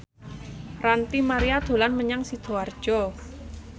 Ranty Maria dolan menyang Sidoarjo